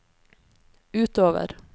utover